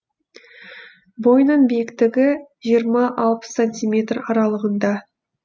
бойының биіктігі жиырма алпыс сантиметр аралығында